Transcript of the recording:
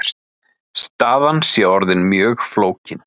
Staðan sé orðin mjög flókin.